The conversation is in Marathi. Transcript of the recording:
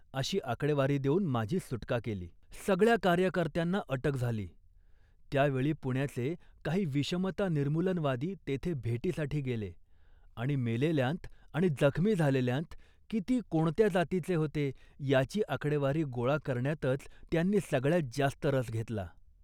अशी आकडेवारी देऊन माझी सुटका केली. सगळ्या कार्यकर्त्यांना अटक झाली, त्या वेळी पुण्याचे काही विषमता निर्मूलनवादी तेथे भेटीसाठी गेले आणि मेलेल्यांत आणि जखमी झालेल्यांत किती कोणत्या जातीचे होते याची आकडेवारी गोळा करण्यातच त्यांनी सगळ्यात जास्त रस घेतला